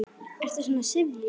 Ertu svona syfjuð?